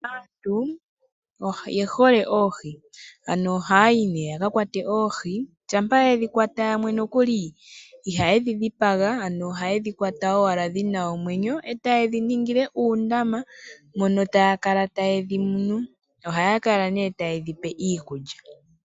Aantu oye hole oohi, ano ohaya yi nee yaka kwate oohi, shampa yedhi kwata yamwe nokuli iha ydhi dhipaga oha yedhi kwata dhina omwenyo, e ta yedhi ningile uundama mono taya kala ta yedhi munu. Ohaya kala ta yedhi pe nee iikulya.